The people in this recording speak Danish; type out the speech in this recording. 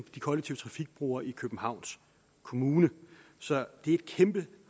kollektive trafikbrugere i københavns kommune så det er et kæmpe